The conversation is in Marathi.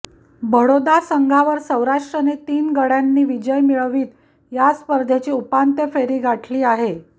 बडोदा संघावर सौराष्ट्रने तीन गडय़ांनी विजय मिळवित या स्पर्धेची उपांत्य फेरी गाठली आहे